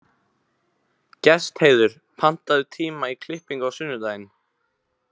Gestheiður, pantaðu tíma í klippingu á sunnudaginn.